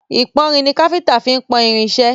Ìpọ́nrin ni káfíńńtà fí máa ń pọ́n irin iṣẹ́.